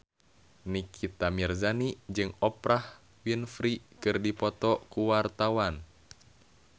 Nikita Mirzani jeung Oprah Winfrey keur dipoto ku wartawan